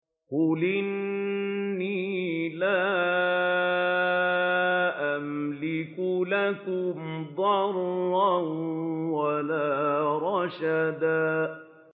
قُلْ إِنِّي لَا أَمْلِكُ لَكُمْ ضَرًّا وَلَا رَشَدًا